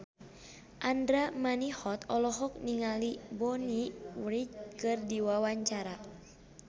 Andra Manihot olohok ningali Bonnie Wright keur diwawancara